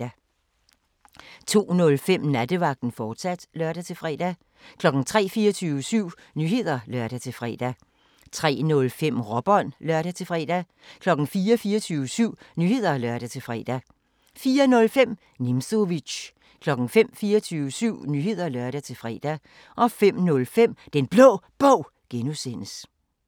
02:05: Nattevagten, fortsat (lør-fre) 03:00: 24syv Nyheder (lør-fre) 03:05: Råbånd (lør-fre) 04:00: 24syv Nyheder (lør-fre) 04:05: Nimzowitsch 05:00: 24syv Nyheder (lør-fre) 05:05: Den Blå Bog (G)